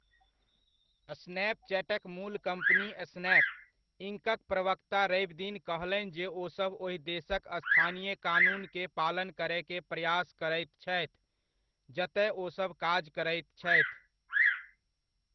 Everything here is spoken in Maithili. स्नैपचैटक मूल कम्पनी स्नैप, इंकक प्रवक्ता रविदिन कहलनि जे ओसभ ओहि देशक स्थानीय कानून के पालन करय के प्रयास करैत छथि, जतय ओसभ काज करैत छथि।